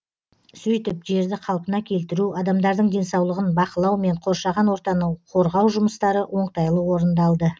сөйтіп жерді қалпына келтіру адамдардың денсаулығын бақылау мен қоршаған ортаны қорғау жұмыстары оңтайлы орындалды